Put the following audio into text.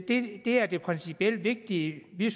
det er det principielt vigtige vi